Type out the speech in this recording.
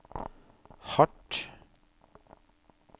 hardt